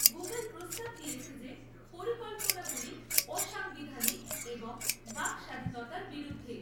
Google প্রস্তাব দিয়েছে যে পরিকল্পনাগুলি অসাংবিধানিক এবং বাকস্বাধীনতার বিরুদ্ধে।